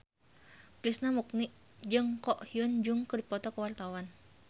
Krishna Mukti jeung Ko Hyun Jung keur dipoto ku wartawan